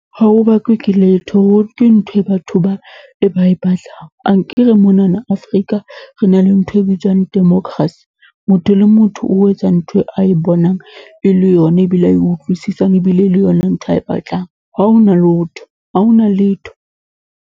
Ha ho bakuwe ke letho, ho ke ntho e batho ba e ba e batlang. Akere monana Afrika re na le ntho e bitswang democracy. Motho le motho o etsa ntho e a e bonang e le yona, ebile a e utlwisisang, ebile e le yona ntho a e batlang. Ha hona lotho, ha hona letho.